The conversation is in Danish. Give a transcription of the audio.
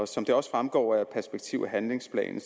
som det også fremgår af perspektiv og handlingsplanen